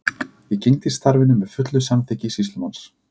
Ég gegndi starfinu með fullu samþykki sýslumanns.